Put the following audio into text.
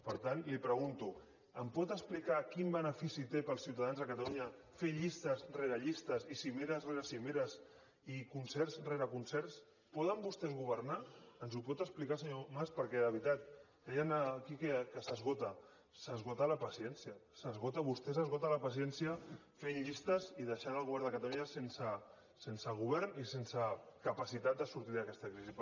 per tant li pregunto em pot explicar quin benefici té per als ciutadans de catalunya fer llistes rere llistes i cimeres rere cimeres i concerts rere concerts poden vostès governar ens ho pot explicar senyor mas perquè de veritat deien aquí que s’esgota s’esgota la paciència vostès esgoten la paciència fent llistes i deixant el govern de catalunya sense govern i sense capacitat de sortir d’aquesta crisi